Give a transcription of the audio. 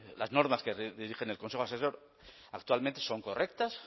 las normas que dirigen el consejo asesor actualmente son correctas